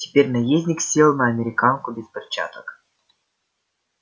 теперь наездник сел на американку без перчаток